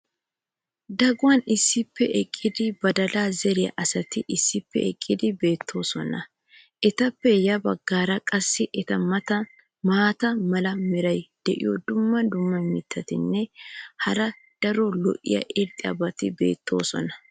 Daguwan issippe eqqidi badalaa zeriya asati issippe eqqidi beettoosona. etappe ya bagaara qassi eta matan maata mala meray diyo dumma dumma mittatinne hara daro lo'iya irxxabati beettoosona.